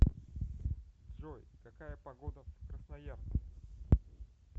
джой какая погода в красноярске